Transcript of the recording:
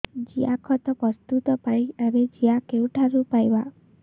ଜିଆଖତ ପ୍ରସ୍ତୁତ ପାଇଁ ଆମେ ଜିଆ କେଉଁଠାରୁ ପାଈବା